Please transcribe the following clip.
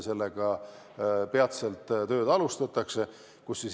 Selle kallal algab töö peatselt.